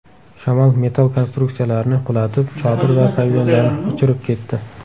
Shamol metall konstruksiyalarni qulatib, chodir va pavilyonlarni uchirib ketdi.